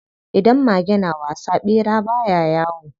Idan mage na wasa, ɓera baya yawo.